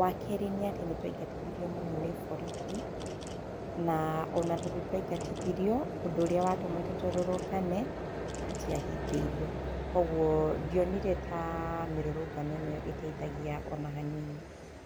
Wa kerĩ nĩ atĩ nĩ twaingatithirio mũno nĩ borithi, na ona tondũ twaingatithirio, ũndũ ũrĩa watũmĩte tũrũrũngane tũtiahingĩirio. Kwoguo, ndionire ta mĩrũrũngano ĩno ta ĩteithagia ona hanini.